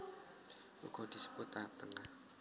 Uga disebut tahap tengah